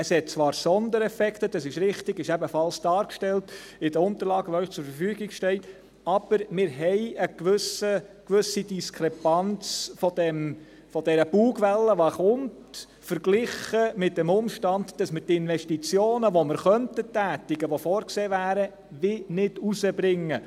Es gibt zwar Sondereffekte – dies ist richtig, das ist ebenfalls in den Unterlagen dargestellt, die Ihnen zur Verfügung stehen –, aber wir haben eine gewisse Diskrepanz bei dieser Bugwelle, die kommt, verglichen mit dem Umstand, dass wir die Investitionen, die wir tätigen könnten und die vorgesehen wären, irgendwie nicht herausbringen.